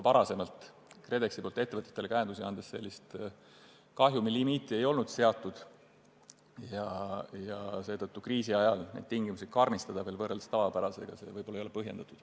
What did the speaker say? Varem, kui KredEx ettevõtetele käendusi andis, ei olnud sellist kahjumilimiiti seatud ja seetõttu ei ole kriisiajal nende tingimuste karmistamine, võrreldes tavapärastega, võib-olla põhjendatud.